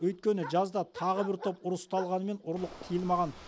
өйткені жазда тағы бір топ ұры ұсталғанмен ұрлық тыйылмаған